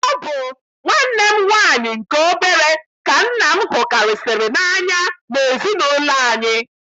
Ọ bụ nwanne m nwaanyị nke obere ka nna m hukarịsịrị n'anya n'ezinaụlọ anyị.